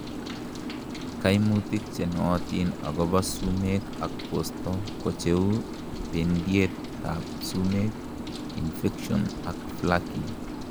kaimutik chenootin akobo sumek ak bosto kocheu bendiet ab sumek, infections ak flaking